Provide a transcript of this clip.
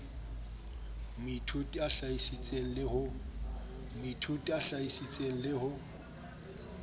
moithuti a hlahisitse le ho